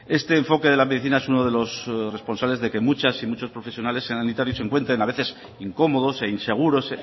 este enfoque de la medicina es uno de los responsables de que muchas y muchos profesionales sanitarios se encuentren a veces incómodos e inseguros